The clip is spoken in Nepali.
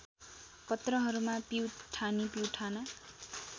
पत्रहरूमा पिउठानी पिउठाना